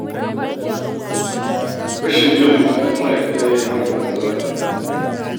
Rashin biyan buƙatun ma'aikata ne ya hana a daina zanga-zanga